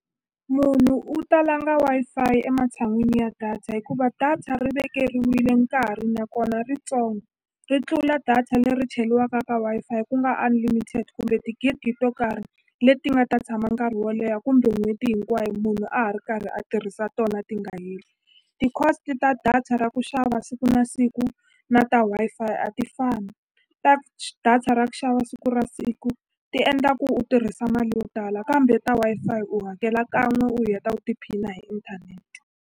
Munhu u ta langa Wi-Fi ematshan'wini ya data hikuva data ri vekeriwile nkarhi nakona ritsongo ri tlula data leri cheriwaka ka Wi-Fi ku nga unlimited kumbe tigigi to karhi leti nga ta tshama nkarhi wo leha kumbe n'hweti hinkwayo munhu a ha ri karhi a tirhisa tona ti nga heli ti-cost ta data ra ku xava siku na siku na ta Wi-Fi a ti fani ta data ra ku xava siku ra siku ti endla ku u tirhisa mali yo tala kambe ta Wi-Fi u hakela kan'we u heta u tiphina hi inthanete.